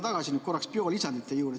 Ma lähen korraks tagasi biolisandite juurde.